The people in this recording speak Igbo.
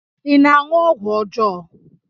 Ị na-aṅụ ọgwụ ọjọọ?